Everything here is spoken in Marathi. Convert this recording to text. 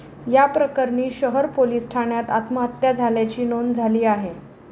या प्रकरणी शहर पोलिस ठाण्यात आत्महत्या झाल्याची नोंद झाली आहे.